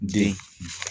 Den